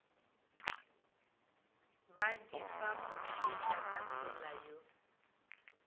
ba di fa mofetakatsela yo